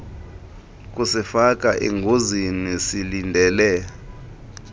kusifaka engozini silindele